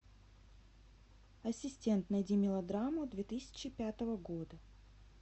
ассистент найди мелодраму две тысячи пятого года